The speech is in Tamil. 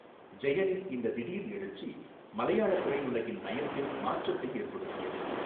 ஜெயனின் இந்த திடீர் எழுச்சி மலையாள திரையுலகின் நயத்தில் மாற்றத்தை ஏற்படுத்தியது.